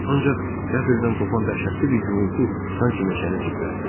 Ancaq qəflətən qopan dəhşətli bir gurultu sanki meşəni titrətdi.